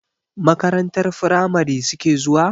Makarantar firamari suke zuwa?